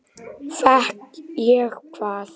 Elsku Pálína mín.